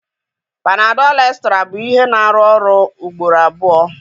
panadol Extra bụ ihe na-arụ ọrụ ugboro abụọ.